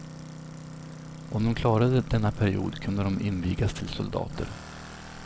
Om de klarade denna period kunde de invigas till soldater.